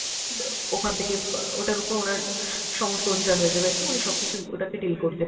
অ্যাঁ ওখান থেকে অ্যাঁ ওটার উপর ওনার সমস্ত অধিকার হয়ে যাবে আরকী, উনি সবকিছু ওটাকে deal করতে